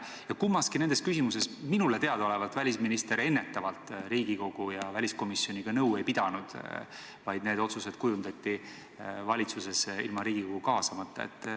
Kummaski küsimuses minule teadaolevalt välisminister enne Riigikogu ega meie väliskomisjoniga nõu ei pidanud, need otsused tehti valitsuses ilma Riigikogu kaasamata.